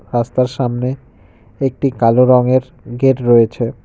রাস্তার সামনে একটি কালো রংয়ের গেট রয়েছে।